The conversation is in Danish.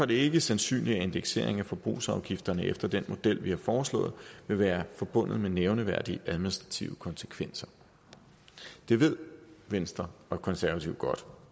det ikke sandsynligt at indeksering af forbrugsafgifterne efter den model vi har foreslået vil være forbundet med nævneværdige administrative konsekvenser det ved venstre og konservative godt